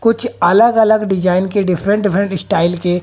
कुछ अलग अलग डिजाइन के डिफरेंट डिफरेंट स्टाइल के--